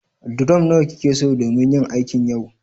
durom nawa kikeso domin yin aikin yau